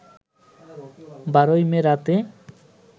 ১২ May রাতে